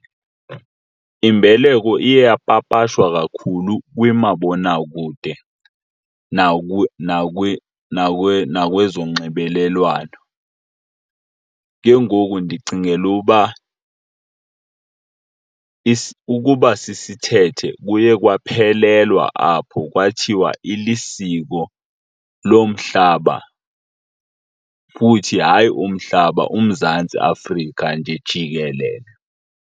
Imbeleko iye yapapashwa kakhulu kwimabonakude nakwezonxibelelwano. Ke ngoku ndicingela uba ukuba sisithethe kuye kwaphelelwa apho kwathiwa ilisiko lomhlaba futhi hayi umhlaba uMzantsi Afrika nje jikelele.